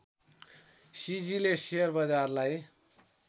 सिजीले share बजारलाई